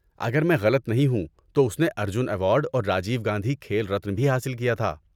اگر میں غلط نہیں ہوں تو اس نے ارجن ایوارڈ اور راجیو گاندھی کھیل رتن بھی حاصل کیا تھا۔